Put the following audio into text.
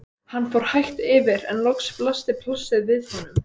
Hann fór hægt yfir en loks blasti plássið við honum.